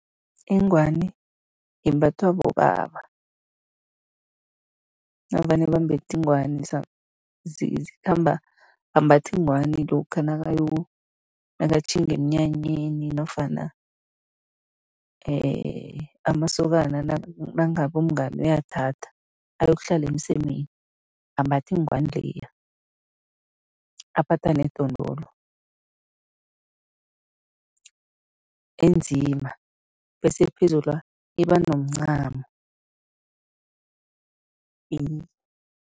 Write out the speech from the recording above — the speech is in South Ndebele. Ingwani imbathwa bobaba. Navane bambethe ingwani, zikhamba, bambatha ingwani lokha nakayo, nakatjhinga emnyanyeni nofana amasokana nangabe umngani uyathatha, ayokuhlala emsemeni, ambathe ingwani leya, aphatha nedondolo enzima bese phezulwa iba nomncamo